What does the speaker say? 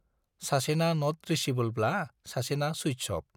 सासेना नट रिचेबोलब्ला सासेना सुइट्स अफ।